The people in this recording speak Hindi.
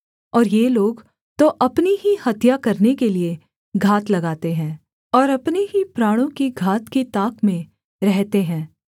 और ये लोग तो अपनी ही हत्या करने के लिये घात लगाते हैं और अपने ही प्राणों की घात की ताक में रहते हैं